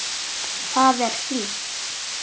Þar er hlýtt.